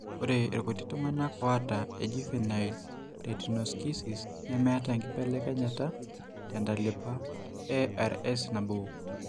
Ore irkuti tung'anak oata ejuvenile retinoschisis nemeeta enkibelekenyata tentalipa eRSnabo.